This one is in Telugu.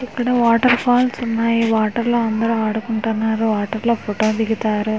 ఇక్కడ వాటర్ ఫాల్స్ ఉన్నాయి వాటర్ లా అందరూ ఆడుకుంటున్నారు వాటర్ లో ఫోటో దిగతారు.